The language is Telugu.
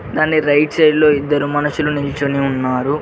దాన్ని రైట్ సైడ్ లో ఇద్దరు మనుషులు నించోని ఉన్నారు